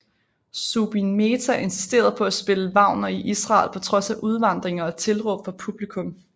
Zubin Mehta insisterede på at spille Wagner i Israel på trods af udvandringer og tilråb fra publikum